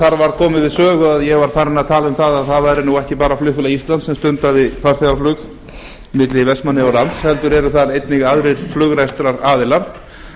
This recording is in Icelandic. þar var komið í sögu að ég var farinn að tala um að það væri ekki bara flugfélag íslands sem stundaði farþegaflug milli vestmannaeyja og lands heldur eru þar líka aðrir flugrekstraraðilar